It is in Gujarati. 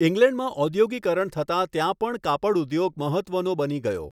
ઈંગ્લેન્ડમાં ઔધોગિકરણ થતા ત્યાં પણ કાપડઉધોગ મહત્ત્વનો બની ગયો.